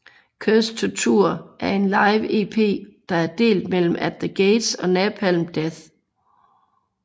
Cursed to Tour er en live EP der er delt mellem At the Gates og Napalm Death